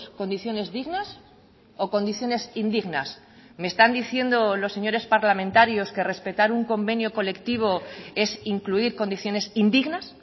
condiciones dignas o condiciones indignas me están diciendo los señores parlamentarios que respetar un convenio colectivo es incluir condiciones indignas